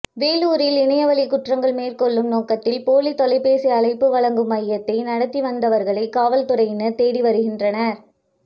வேலூரில் இணையவழி குற்றங்கள் மேற்கொள்ளும் நோக்கத்தில் போலி தொலைபேசி அழைப்பு வழங்கும் மையத்தை நடத்தி வந்தவர்களை காவல்துறையினர் தேடி வருகின்றனர்